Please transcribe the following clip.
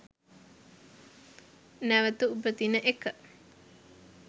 නැවත උපදින එක